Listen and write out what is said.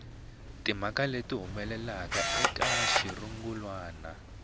timhaka leti humelelaka eka xirungulwana